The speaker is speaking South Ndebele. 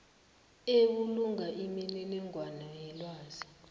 ebulunga imininingwana yelwazi